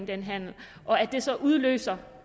den handel og at det så udløser